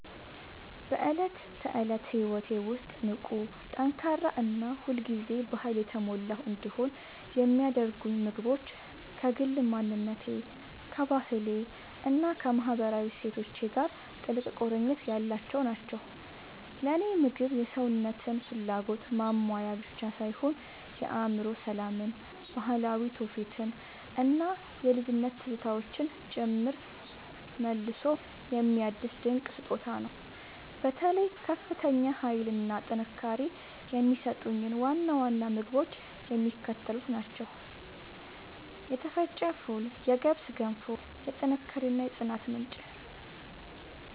በዕለት ተዕለት ሕይወቴ ውስጥ ንቁ፣ ጠንካራ እና ሁል ጊዜ በኃይል የተሞላሁ እንድሆን የሚያደርጉኝ ምግቦች ከግል ማንነቴ፣ ከባህሌ እና ከማህበራዊ እሴቶቼ ጋር ጥልቅ ቁርኝት ያላቸው ናቸው። ለእኔ ምግብ የሰውነትን ፍላጎት ማሟያ ብቻ ሳይሆን የአእምሮ ሰላምን፣ ባህላዊ ትውፊትን እና የልጅነት ትዝታዎችን ጭምር መልሶ የሚያድስ ድንቅ ስጦታ ነው። በተለይ ከፍተኛ ኃይል እና ጥንካሬ የሚሰጡኝን ዋና ዋና ምግቦች የሚከተሉት ናቸው የተፈጨ ፉል የገብስ ገንፎ፦ የጥንካሬ እና የጽናት ምንጭ